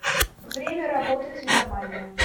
время работы цветомания